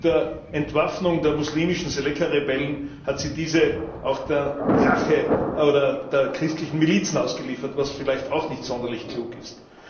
Mit der Entwaffnung der muslimischen Séléka Rebellen hat sie diese auch der Rache der christlichen Milizen ausgeliefert, was vielleicht auch nicht sonderlich klug ist.